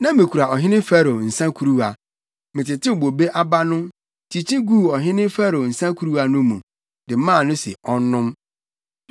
Na mikura ɔhene Farao nsa kuruwa. Metetew bobe aba no, kyikyi guu ɔhene Farao nsa kuruwa no mu, de maa no sɛ ɔnnom.”